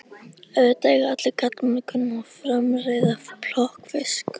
Auðvitað eiga allir karlmenn að kunna að framreiða plokkfisk.